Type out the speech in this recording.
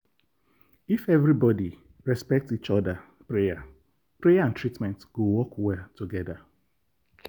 if everybody respect each other prayer prayer and treatment go work well together.